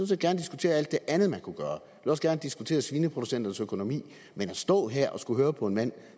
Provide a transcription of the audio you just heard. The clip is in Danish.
set gerne diskutere alt det andet man kunne gøre jeg også gerne diskutere svineproducenternes økonomi men at stå her og skulle høre på en mand